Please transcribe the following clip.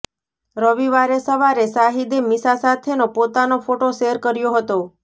રવિવારે સવારે શાહિદે મિશા સાથેનો પોતાનો ફોટો શૅર કર્યો હતો